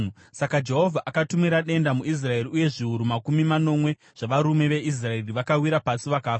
Saka Jehovha akatumira denda muIsraeri uye zviuru makumi manomwe zvavarume veIsraeri vakawira pasi vakafa.